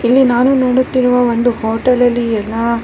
ಇಲ್ಲಿ ನಾನು ನೋಡುತ್ತಿರುವ ಒಂದು ಹೋಟೆಲ್ಅಲ್ಲಿ ಎಲ್ಲ--